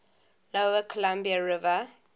lower columbia river